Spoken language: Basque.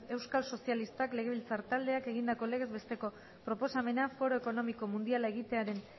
euskal sozialistak legebiltzar taldeak egindako legez besteko proposamena foro ekonomiko mundiala egitearen